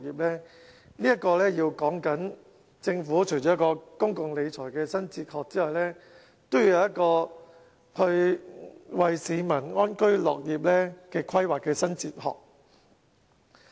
這裏說的，除了政府的公共理財新哲學之外，還要有一個為市民安居樂業的規劃新哲學。